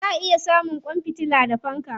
Za a iya samun kwan fitila da fanka.